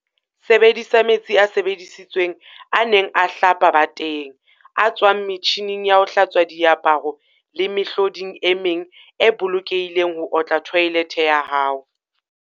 Sebedisa "metsi a sebedisitsweng a neng a hlapa bateng, a tswang metjhining ya ho hlatswa diaparo le mehloding e meng e bolokehileng ho otla thoelethe ya hao."